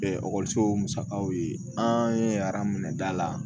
ekɔlisow musakaw ye an ye arajoda la